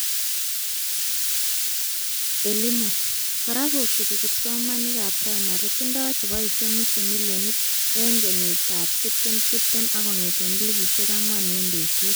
E-Limu, kora kosubi kipsomaninkab primary, tindoy cheboishe nusu milionit eng 2020 ak kongete 4,000 eng betut